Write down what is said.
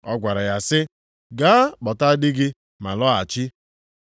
Ọ gwara ya sị, “Gaa kpọta di gị ma lọghachi.”